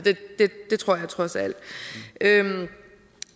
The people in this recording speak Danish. det tror jeg trods alt